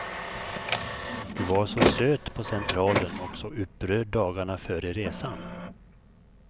Du var så söt på centralen och så upprörd dagarna före resan.